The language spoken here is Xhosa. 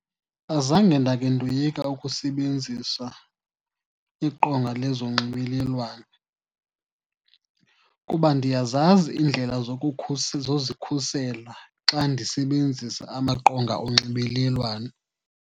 Azange ndakhe ndoyika ukusebenzisa iqonga lezonxibelelwano, kuba ndiyazazi iindlela zozikhusela xa ndisebenzisa amaqonga onxibelelwano.